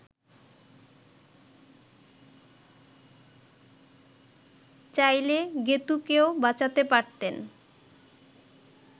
চাইলে গেঁতুকেও বাঁচাতে পারতেন